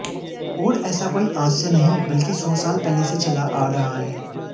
और ऐसा कोई आज से नहीं बल्कि सौ साल पहले से चला आ रहा है